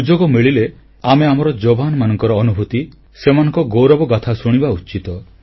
ସୁଯୋଗ ମିଳିଲେ ଆମେ ଆମ ଯବାନମାନଙ୍କ ଅନୁଭୂତି ସେମାନଙ୍କ ଗୌରବଗାଥା ଶୁଣିବା ଉଚିତ